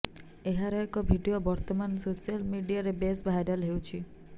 ଏହାର ଏକ ଭିଡିଓ ବର୍ତ୍ତମାନ ସୋଶାଲ ମିଡିଆରେ ବେଶ ଭାଇରାଲ ହେଉଛି